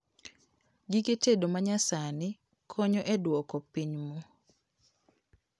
Gige tedo manyasani konyo e duoko piny moo